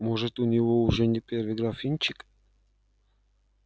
может у него уже не первый графинчик